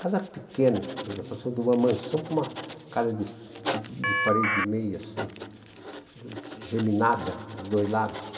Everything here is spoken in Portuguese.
casa pequena, nós passamos de uma mansão para uma casa de de de parede e meia, assim, geminada, dos dois lados.